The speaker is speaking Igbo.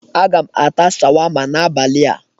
Aga m ata sharwama n'abali a.